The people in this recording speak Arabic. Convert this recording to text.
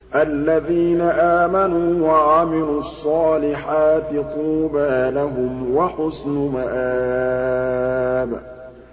الَّذِينَ آمَنُوا وَعَمِلُوا الصَّالِحَاتِ طُوبَىٰ لَهُمْ وَحُسْنُ مَآبٍ